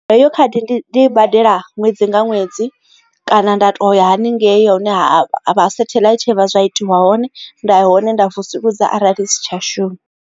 Heyo khadi ndi i badela ṅwedzi nga ṅwedzi kana nda to ya haningei ya hune a satheḽaithi vha zwa itiwa hone nda ya hone nda vusuludza arali isi tsha shuma.